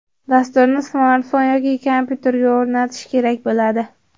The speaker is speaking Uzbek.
Dasturni smartfon yoki kompyuterga o‘rnatish kerak bo‘ladi.